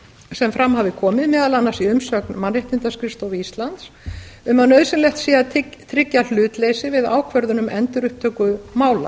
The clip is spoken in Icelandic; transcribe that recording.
sem fram hafi komið meðal annars í umsögn mannréttindaskrifstofu íslands um að nauðsynlegt sé að tryggja hlutleysi við ákvörðun um endurupptöku mála